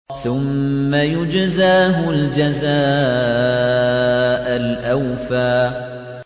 ثُمَّ يُجْزَاهُ الْجَزَاءَ الْأَوْفَىٰ